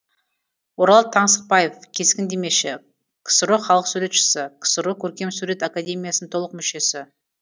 орал таңсықбаев кескіндемеші ксро халық суретшісі ксро көркемсурет академиясының толық мүшесі